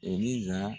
E ni